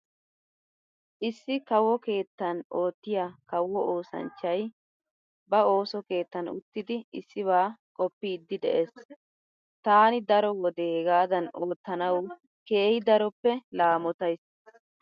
Issi kawo keettan oottiya kawo oosanchchay ba ooso keettan uttidi issibaa qoppiiddi de'ees. Taani daro wode hegaadan oottanawu keehi daroppe laamotays.